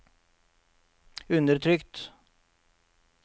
undertrykt